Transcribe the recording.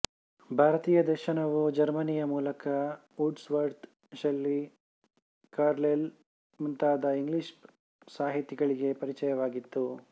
ಭಾರತೀಯ ದರ್ಶನವೂ ಜರ್ಮನಿಯ ಮೂಲಕ ವರ್ಡ್ವವರ್ತ್ ಷೆಲ್ಲಿ ಕಾರ್ಲೈಲ್ ಮೊದಲಾದ ಇಂಗ್ಲಿಷ್ ಸಾಹಿತಿಗಳಿಗೆ ಪರಿಚಯವಾಗಿತ್ತು